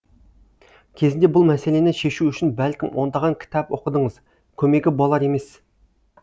кезінде бұл мәселені шешу үшін бәлкім ондаған кітап оқыдыңыз көмегі болар емес